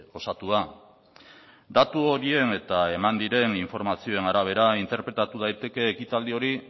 osatua datu horien eta eman diren informazioen arabera interpretatu daiteke ekitaldi hori